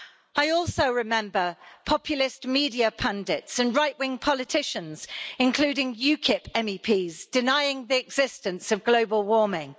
I also remember populist media pundits and right wing politicians, including UKIP MEPs, denying the existence of global warming.